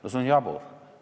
No see on jabur!